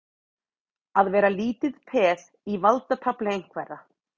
Að vera lítið peð í valdatafli einhverra